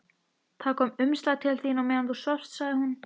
Það kom umslag til þín meðan þú svafst, sagði hún.